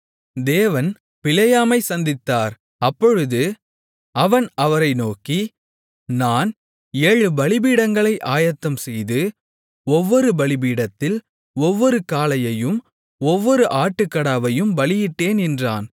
தேவன் பிலேயாமைச் சந்தித்தார் அப்பொழுது அவன் அவரை நோக்கி நான் ஏழு பலிபீடங்களை ஆயத்தம்செய்து ஒவ்வொரு பலிபீடத்தில் ஒவ்வொரு காளையையும் ஒவ்வொரு ஆட்டுக்கடாவையும் பலியிட்டேன் என்றான்